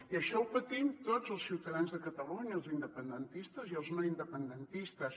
i això ho patim tots els ciutadans de catalunya els independentistes i els no independentistes